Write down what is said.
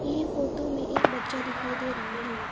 ये फोटो में एक बच्चा दिखाई दे रहा है।